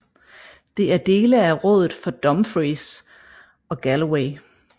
Det er dele af rådet for Dumfries and Galloway